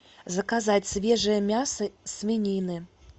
заказать свежее мясо свинины